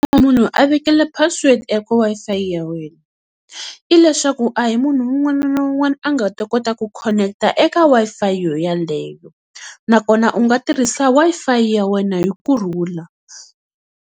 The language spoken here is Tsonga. Loko munhu a vekele password eka Wi-Fi ya wena, i leswaku a hi munhu un'wana na un'wana a nga ta kota ku khoneketa eka Wi-Fi yoyaleyo nakona u nga tirhisa Wi-Fi ya wena hi kurhula.